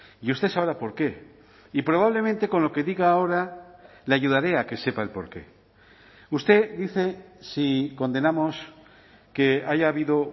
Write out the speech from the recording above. y usted sabrá por qué y probablemente con lo que diga ahora le ayudaré a que sepa el por qué usted dice si condenamos que haya habido